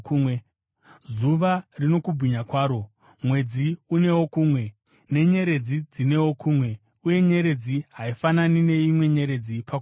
Zuva rino kubwinya kwaro, mwedzi unewo kumwe, nenyeredzi dzinewo kumwe; uye nyeredzi haifanani neimwe nyeredzi pakubwinya.